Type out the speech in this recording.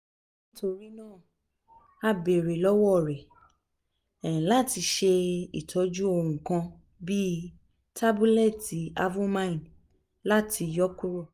nitorina a beere lọwọ rẹ um lati ṣe itọju ohun kan (bii tabulẹti avomine) lati yọ kuro um